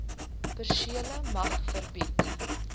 persele mag verbied